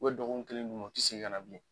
dɔgɔkun kelen d'u ma, u ti segin ka na bilen